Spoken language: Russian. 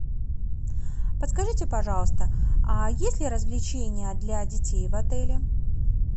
подскажите пожалуйста есть ли развлечения для детей в отеле